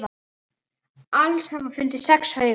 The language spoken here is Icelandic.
Alls hafa fundist sex haugar.